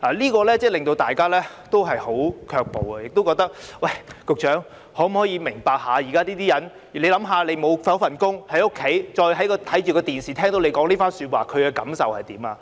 這樣真的令大家很卻步，亦覺得局長是否明白現時市民......試想一下，他們失去工作，在家中看電視時聽到你這番說話，他們會有何感受？